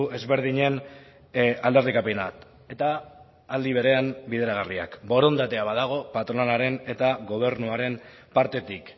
ezberdinen aldarrikapenak eta aldi berean bideragarriak borondatea badago patronalaren eta gobernuaren partetik